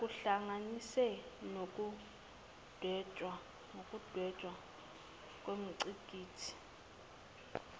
kuhlanganise nokudwetshwa kwengqikithi